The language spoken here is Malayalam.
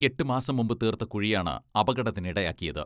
എട്ട് മാസം മുൻപ് തീർത്ത കുഴിയാണ് അപകടത്തിനിടയാക്കിയത്.